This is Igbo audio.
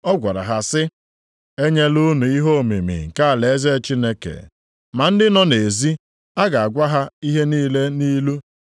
Ọ gwara ha sị, “Enyela unu ihe omimi nke alaeze Chineke. Ma ndị nọ nʼezi, a na-agwa ha ihe niile nʼilu,